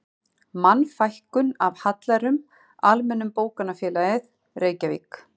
Mannfækkun af hallærum, Almenna bókafélagið, Reykjavík